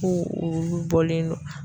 Ko olu bɔlen don